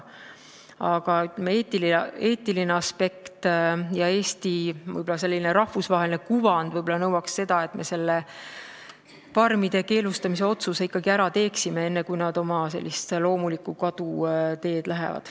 Aga eetiline aspekt ja Eesti rahvusvaheline kuvand võib-olla nõuaks seda, et me farmide keelustamise otsuse ikkagi ära teeksime, enne kui nad sellist loomuliku kadumise teed lähevad.